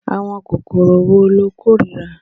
Àwọn kòkòrò wo lo kórìíra?